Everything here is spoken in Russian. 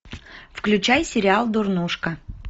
включай сериал дурнушка